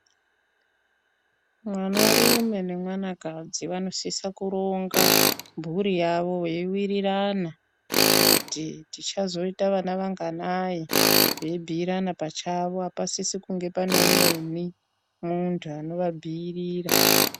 Mwana rume ne mwana kadzi vano sisa kuronga mburi yavo vei wirirana kuti ticha zoita vana vanganai vei bhuyirana pachavo apa sisi kunge pane umweni muntu anova bhuirira.